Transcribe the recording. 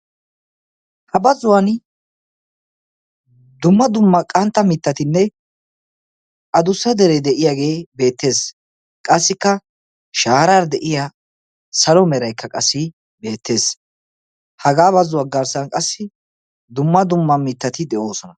Ha bazzuwaan dumma dumma qantta mittatinne adussa deree de'iyaagee beettees. qassikka shaarara de'iyaa salo meraykka qassi beettees. hagaa bazuwaa garssan qassi dumma dumma mittati de'oosona.